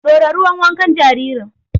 Ɗora ruwan wankan jaririn!